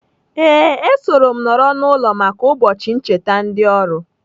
Ee, esoro m nọrọ n'ụlọ maka ụbọchị ncheta ndị oru.